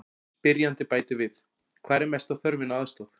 Spyrjandi bætir við: Hvar er mesta þörfin á aðstoð?